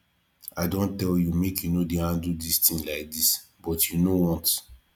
i don tell you make you no dey handle dis thing like dis but you know want